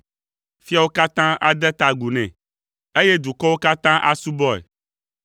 Fiawo katã ade ta agu nɛ, eye dukɔwo katã asubɔe,